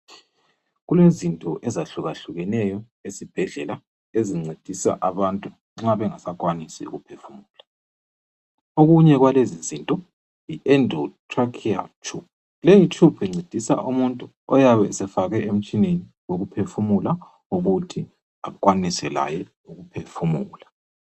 Kulezinto ezihlukahlukeneyo esibhedlela ezincedisa abantu nxa bengasakwanisi ukuphefumula. Okunye kwalezizinto yi end trachea tube. Leyi tube incedisa umuntu oyabe esefakwe emtshineni wokuphefumula ukuthi akwanise laye ukuphefumula.